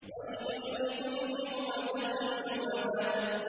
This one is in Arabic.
وَيْلٌ لِّكُلِّ هُمَزَةٍ لُّمَزَةٍ